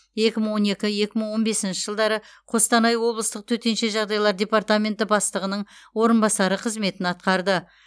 екі мың он екі екі мың он бесінші жылдары қостанай облыстық төтенше жағдайлар департаменті бастығының орынбасары қызметін атқарды